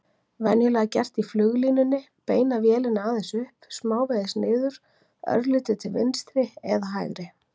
Venjulega gert í fluglínunni: beina vélinni aðeins upp, smávegis niður, örlítið til vinstri eða hægri.